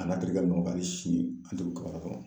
A n'a terikɛ hali sini an tɛ kɔnɔ